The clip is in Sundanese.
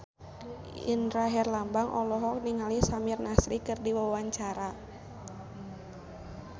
Indra Herlambang olohok ningali Samir Nasri keur diwawancara